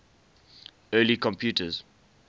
early computers